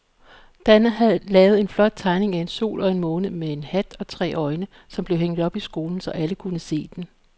Dan havde lavet en flot tegning af en sol og en måne med hat og tre øjne, som blev hængt op i skolen, så alle kunne se den.